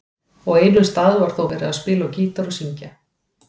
Á einum stað var þó verið að spila á gítar og syngja.